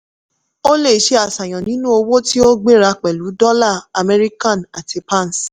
o lè ṣe àṣàyàn nínú owó tí ó gbéra pẹ̀lú dollar american àti pounds